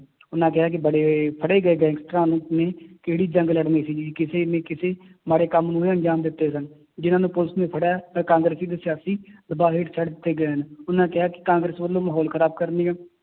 ਉਹਨਾਂ ਕਿਹਾ ਕਿ ਬੜੇ ਫੜੇ ਗਏ ਗੈਂਗਸਟਰਾਂ ਨੂੰ, ਨੇ ਕਿਹੜੀ ਜੰਗ ਲੜਨੀ ਸੀਗੀ ਕਿਸੇ ਨੇ ਕਿਸੇ ਮਾੜੇ ਕੰਮ ਨੂੰ ਹੀ ਅਨਜਾਮ ਦਿੱਤੇ ਸਨ, ਜਿੰਨਾਂ ਨੂੰ ਪੁਲਿਸ ਨੇ ਫੜਿਆ ਹੈ ਤੇ ਕਾਂਗਰਸੀ ਤੇ ਸਿਆਸੀ ਦਬਾਅ ਹੇਠ ਛੱਡ ਦਿੱਤੇ ਗਏ ਹਨ, ਉਹਨਾਂ ਕਿਹਾ ਕਿ ਕਾਂਗਰਸ ਵੱਲੋਂ ਮਾਹੌਲ ਖ਼ਰਾਬ ਕਰਨ ਦੀਆਂ